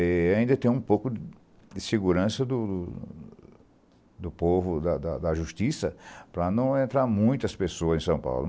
E ainda tem um pouco de segurança do do povo, da da da justiça, para não entrar muitas pessoas em São Paulo.